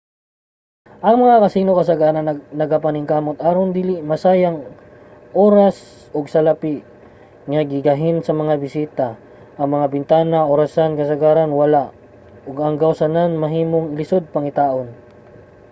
ang mga casino kasagaran nagapaningkamot aron dili masayang oras ug salapi nga gigahin sa mga bisita. ang mga bintana ug orasan kasagaran wala ug ang gawsanan mahimong lisod pangitaon